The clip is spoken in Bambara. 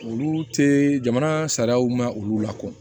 Olu tɛ jamana sariyaw ma olu la ko